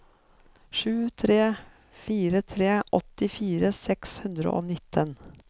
sju tre fire tre åttifire seks hundre og nitten